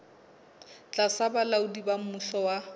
tlasa bolaodi ba mmuso wa